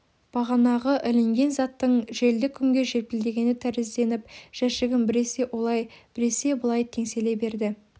бағанағы ілінген заттың желді күнгі желпілдегені тәрізденіп жәшігім біресе олай біресе былай теңселе берді